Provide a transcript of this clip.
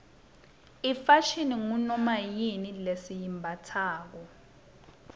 ifashini ngunomayini lesiyimbatsalo